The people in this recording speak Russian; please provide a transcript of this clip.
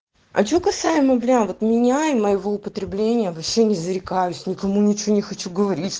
а что касаемо бля вот меня и моего употребление вообще не зарекаюсь никому ничего не хочу говорить